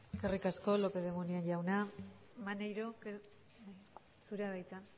eskerrik asko lópez de munain jauna maneiro zurea da hitza